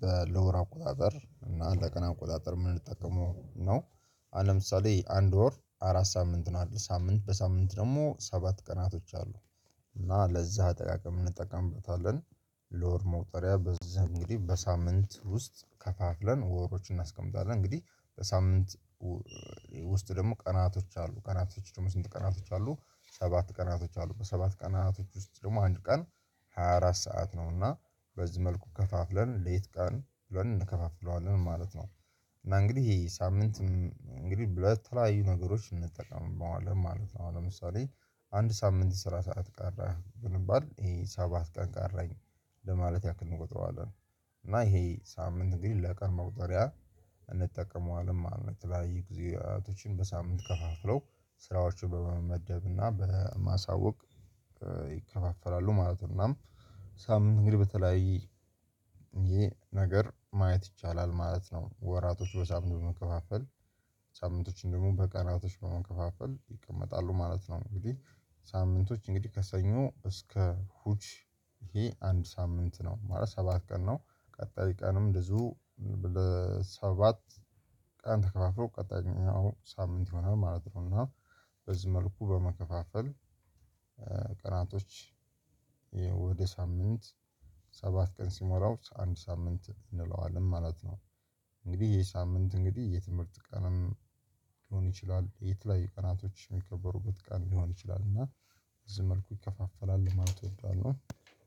በለወር አቆጣጠር እና ለቀን አቆጣጠር የምንጠቀመው ነው? አሁን ለምሳሌ አንድ ወር አራት ሳምንት ነው አይደለም ሳምንት በሳምንት ደግሞ ሰባት ቀናቶች አሉ። እና ለዛ ጠቃቀም እንጠቀምበታለን። ለወር መውጠሪያ በዛ እንግዲህ በሳምንት ውስጥ ከፋፍለን ወሮችን እናስቀምጣለን እንግዲህ በሳምንት ውስጥ ደግሞ ቀናቶች አሉ ቀናቶች ደግሞ ስንት ቀናቶች አሉ ሰባት ቀናቶች አሉ በሰባት ቀናቶች ውስጥ ደግሞ አንድ ቀን ሃያ አራት ሰዓት ነውና በዚህ መልኩ ከፋፍለን ሌት ቀን ብለን እንከፋፍለዋለን ማለት ነው። እና እንግዲህ ይሄ ሳምንት እንግዲህ ብለህ ለተለያዩ ነገሮችን እንጠቀመዋለኝ ማለት ነው። አሁን ለምሳሌ አንድ ሳምንት ስራ ሰዓት ቀረ ብንባል ይሄ ሰባት ቀን ቀረኝ ለማለት ያክል እንቆጥረዋለን። እና ይሄ ሳምንት እንግድህ ለቀን መቁጠሪያ እንጠቀመዋለን ማለት ነው። የተለያዩ ጊዜያቶችን በሳምንት ከፋፍለው ስራዎችን በመመደብ እና በማሳወቅ ይከፋፈላሉ ማለት ነው። እና ሳምንት እንግዲህ በተለያየ ይሄ ነገር ማየት ይቻላል ማለት ነው። ወራቶች በሳምንት በመከፋፈል ሳምንቶች ደግሞ በቀናቶች በመከፋፈል ይቀመጣሉ ማለት ነው። እንግዲህ ሳምንቶች እንግዲህ ከሰኞ እስከ እሁድ ይሄ አንድ ሳምንት ነው። ማለት ሰባት ቀን ነው ቀጣይ ቀንም እንደዚሁ ሰባት ቀን ተከፋፍሎ ቀጣይኛው ሳምንት ይሆናል ማለት ነው። እና በዚህ መልኩ በመከፋፈል ቀናቶች ወደ ሳምንት ሰባት ቀን ሲሞላው አንድ ሳምንት እንለዋለን ማለት ነው። እንግዲህ የሳምንት እንግዲህ የትምህርት ቀንም ሊሆን ይችላል የት ላይ ቀናቶች የሚከበሩበት ቀን ሊሆን ይችላል። እና እዚህ መልኩ ይከፋፈላል ለማለት እወዳለሁ።